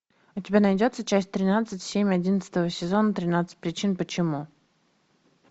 у тебя найдется часть тринадцать семь одиннадцатого сезона тринадцать причин почему